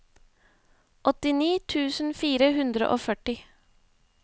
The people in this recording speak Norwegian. åttini tusen fire hundre og førti